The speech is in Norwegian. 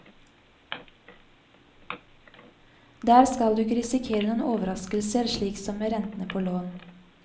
Der skal du ikke risikere noen overraskelser slik som med rentene på lån.